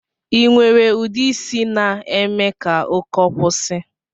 Inwere ude isi na-eme ka ụkọ kwusi?